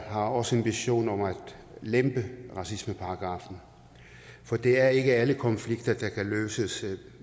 har også en vision om at lempe på racismeparagraffen for det er ikke alle konflikter der kan løses